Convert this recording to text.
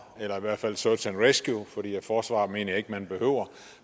eller i hvert fald search and rescue fordi forsvaret mener jeg ikke man behøver